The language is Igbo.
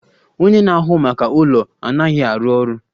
Onye na-ahụ maka ụlọ anaghị arụ ọrụ